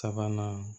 Sabanan